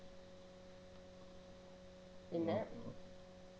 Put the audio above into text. പിന്നെ